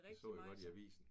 Det så jeg godt i avisen